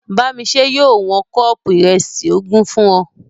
Bámiṣẹ́ yóò wọn kọ́ọ̀pù ìrẹsì ogún fún ọ